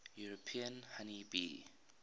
european honey bee